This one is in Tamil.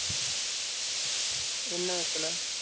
என்ன வைக்கல